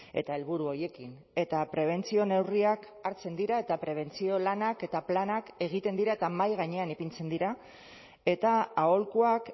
eta helburu horiekin eta prebentzio neurriak hartzen dira eta prebentzio lanak eta planak egiten dira eta mahai gainean ipintzen dira eta aholkuak